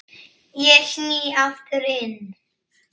Ég sný aftur inn.